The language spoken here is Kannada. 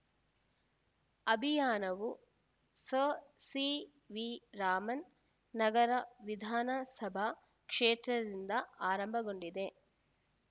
ಅಭಿಯಾನವು ಸರ್‌ ಸಿವಿರಾಮನ್‌ ನಗರ ವಿಧಾನಸಭಾ ಕ್ಷೇತ್ರದಿಂದ ಆರಂಭಗೊಂಡಿದೆ